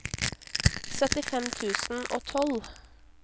syttifem tusen og tolv